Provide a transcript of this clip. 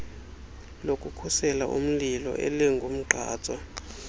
lokukhusela umlilo elingumgqatswa